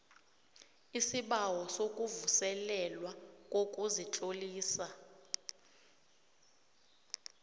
isibawo sokuvuselelwa kokuzitlolisa